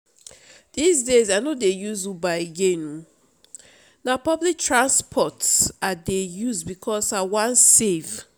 dis days i no dey use uber again oo na public transport i dey use because i wan save